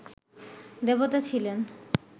দেবতা ছিলেন